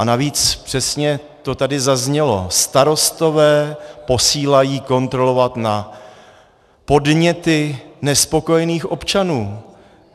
A navíc, přesně to tady zaznělo, starostové posílají kontrolovat na podněty nespokojených občanů.